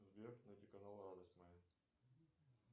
сбер найти канал радость моя